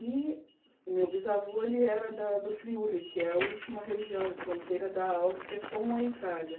E o meu bisavô era da do Friuli, que é a última região, fronteira da Áustria com a Itália.